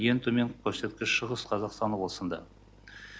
ең төменгі көрсеткіш шығыс қазақстан облысында